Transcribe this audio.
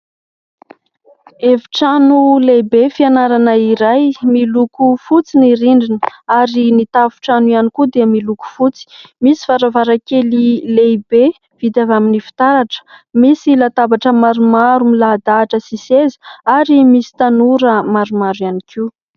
Efitrano lehibe fianarana iray miloko fotsy, ny rindrina ary ny tafon-trano ihany koa dia miloko fotsy, misy varavarankely lehibe vita avy amin'ny fitaratra, misy latabatra maromaro milahadahatra sy seza ary misy tanora maromaro ihany koa.